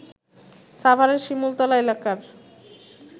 সাভারের শিমুলতলা এলাকার